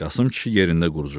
Qasım kişi yerində quruşdu.